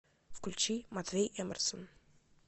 включи матвей эмерсон